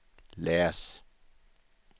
läs